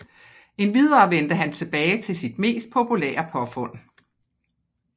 Endvidere vendte han tilbage til sit mest populære påfund